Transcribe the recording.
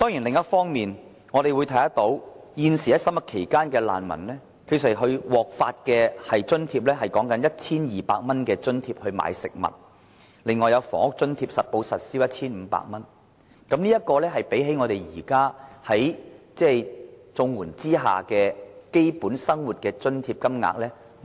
另一方面，難民現時在審核期間，獲得的食物津貼只有 1,200 元，還有實報實銷的房屋津貼 1,500 元，低於現時綜援計劃所提供的基本生活津貼金額。